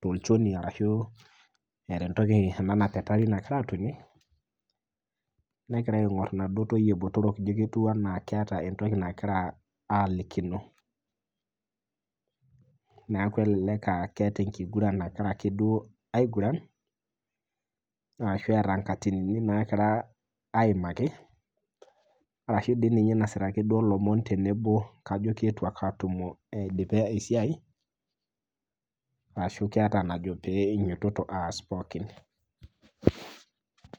tolchoni ashu eeta entoki nagira atonie negira aingor naduo toyie botorok ijo keeta entoki nagira aalikino. neeku elelek aa keeta ake duo enkiguran nagira ake aiguran ashu eeta nkaatinin naagira aimaki ashu eeta dii ninye lomon duake tenebo kajo keidipe esiai ashu keeta enajo pee einyototo aas pookin.